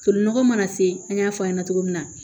Tolinɔgɔ mana se an y'a fɔ a ɲɛna cogo min na